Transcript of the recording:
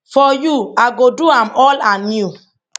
for you i go do am all anew